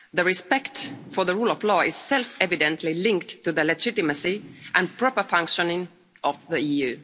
Respect for the rule of law is self evidently linked to the legitimacy and proper functioning of the EU.